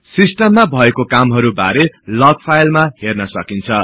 सिस्टममा भएको कामहरु बारे लग फाईलमा हर्न सकिन्छ